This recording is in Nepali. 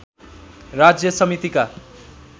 राज्य समितिका